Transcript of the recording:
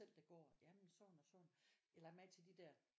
Selv det går jamen sådan og sådan jeg har lagt mærke til de der